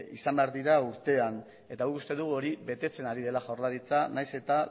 izan behar dira urtean eta guk uste dugu hori betetzen ari dela jaurlaritza nahiz eta